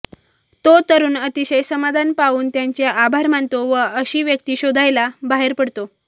तो तरुण अतिशय समाधान पावून त्यांचे आभार मानतो व अशी व्यक्ति शोधायला बाहेर पडतो